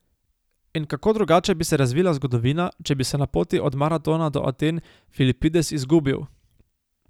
In kako drugače bi se razvila zgodovina, če bi se na poti od Maratona do Aten Filipides izgubil!